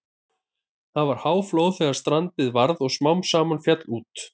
Það var háflóð þegar strandið varð og smám saman féll út.